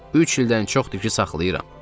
Üç ildən çoxdur ki, saxlayıram.